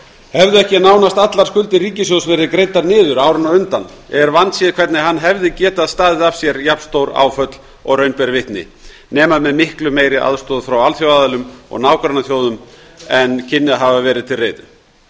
hefðu ekki nánast allar skuldir ríkissjóðs verið greiddar niður árin á undan er vandséð hvernig hann hefði getað staðið af sér jafn stór áföll og raun ber vitni nema með miklu meiri aðstoð frá alþjóðaaðilum og nágrannaþjóðum en kynni að hafa verið til reiðu